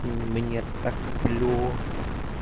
мне так плохо